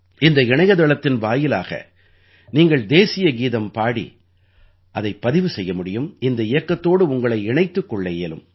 இந்த இணையத்தளத்தின் வாயிலாக நீங்கள் தேசியகீதம் பாடி அதைப் பதிவு செய்ய முடியும் இந்த இயக்கத்தோடு உங்களை இணைத்துக் கொள்ள இயலும்